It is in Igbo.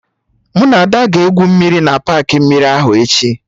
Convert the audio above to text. Mụ na Ada ga-egwu mmiri na paakị mmiri ahụ echi